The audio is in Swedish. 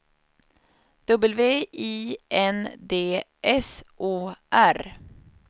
W I N D S O R